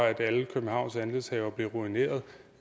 at alle københavns andelshavere bliver ruineret